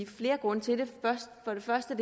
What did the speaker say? flere grunde til det for det første